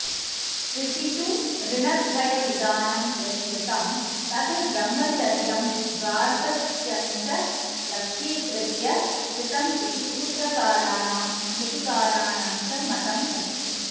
श्रुतिषु ऋणत्रयविधानं यत्कृतं तद्ब्रह्मचर्यं गार्हस्थ्यञ्च लक्ष्यीकृत्य कृतमिति सूत्रकाराणां स्मृतिकाराणाञ्च मतमस्ति